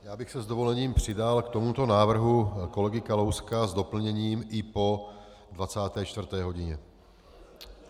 Já bych se s dovolením přidal k tomuto návrhu kolegy Kalouska s doplněním i po 24. hodině.